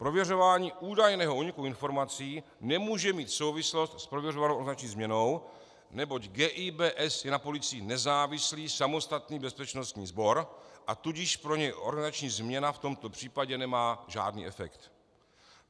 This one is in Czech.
Prověřování údajného úniku informací nemůže mít souvislost s prověřovanou organizační změnou, neboť GIBS je na policii nezávislý samostatný bezpečnostní sbor, a tudíž pro něj organizační změna v tomto případě nemá žádný efekt.